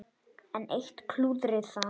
Enn eitt klúðrið þar!